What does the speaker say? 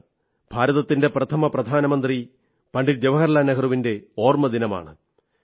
ഭാരതത്തിന്റെ പ്രഥമ പ്രധാനമന്ത്രി പണ്ഡിറ്റ് ജവാഹർലാൽ നെഹ്റുവിന്റെ ഓർമ്മദിനമാണ്